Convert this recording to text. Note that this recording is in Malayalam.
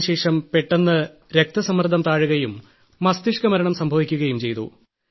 അതിനുശേഷം പെട്ടെന്ന് രക്തസമ്മർദ്ദം താഴുകയും മസ്തിഷ്ക്കമരണം സംഭവിക്കുകയും ചെയ്തു